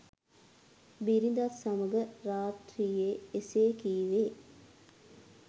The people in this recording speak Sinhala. බිරිඳත් සමඟ රාත්‍රියේ එසේ කීවේ